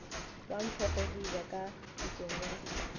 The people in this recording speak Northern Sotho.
wa mphogodiba ka thokong ya